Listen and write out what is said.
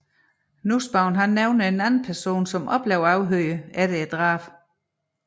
Nussbaum nævner at en anden person også ble afhørt efter drabet